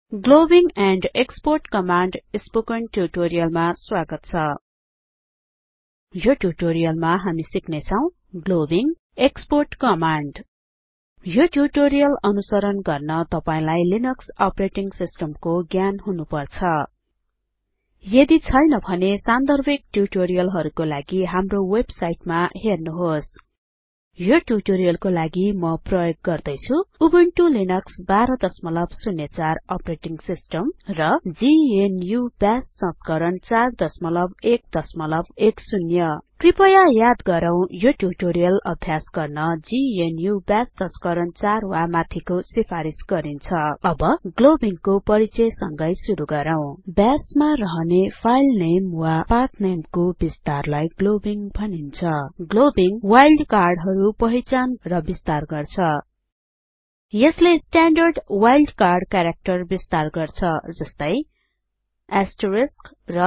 globbing and export command spoken ट्युटोरियलमा स्वागत छ यो ट्युटोरियलमा हामी सिक्ने छौं ग्लोबिङ एक्सपोर्ट कमाण्ड यो ट्युटोरियल अनुसरण गर्न तपाईलाई लिनक्स अपरेटिङ सिस्टम को ज्ञान हुनुपर्छ यदि छैन भने सान्दर्भिक ट्युटोरियलहरुको लागि हाम्रो वेबसाइटमा हेर्नुहोस् यो ट्युटोरियलको लागि म प्रयोग गर्दै छुँ उबुन्टु लिनक्स १२०४ अपरेटिंग सिस्टम र जीएनयू बाश संस्करण ४११० कृपया याद गरौँ यो ट्युटोरियल अभ्यास गर्न जीएनयू बाश संस्करण ४ वा माथिको सिफारिस गरिन्छ अब ग्लोबिङ को परिचय संगै सुरु गरौँ बाश मा रहने फाइलनेम वा पाथनेम को बिस्तारलाई ग्लोबिङ भनिन्छ ग्लोबिङ वाइल्डकार्ड हरु पहिचान गर्छ र विस्तार गर्छ यसले स्ट्याण्डर्ड वाइल्डकार्ड क्याराक्टर विस्तार गर्छ जस्तै एस्टरिस्क र